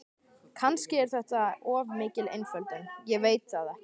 Kannski er þetta of mikil einföldun, ég veit það ekki.